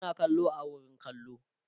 suna kallo a wurin kallo